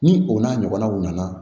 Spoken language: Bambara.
Ni o n'a ɲɔgɔnnaw nana